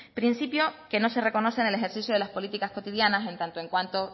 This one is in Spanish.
principio que no se reconoce en el ejercicio de las políticas cotidianas en tanto en cuanto